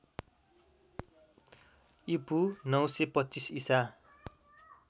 ईपू ९२५ ईसा